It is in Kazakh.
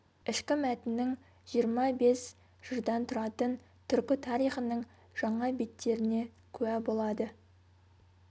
ішкі мәтіннің жиырма бес жырдан тұратын түркі тарихының жаңа беттеріне куә болады